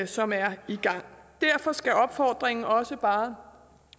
som er i gang derfor skal opfordringen også bare